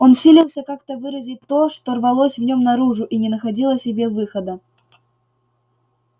он силился как то выразить то что рвалось в нем наружу и не находило себе выхода